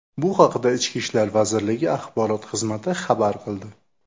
Bu haqda Ichki ishlar vazirligi axborot xizmati xabar qildi .